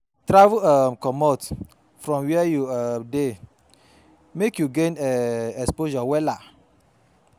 Travel um comot from wia you um dey mek you gain um exposure wella